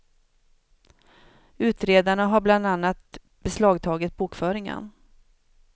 Utredarna har bland annat beslagtagit bokföringen.